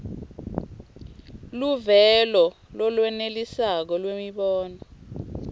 luvelo lolwenelisako lwemibono